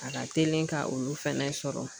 A ka telin ka olu fɛnɛ sɔrɔ.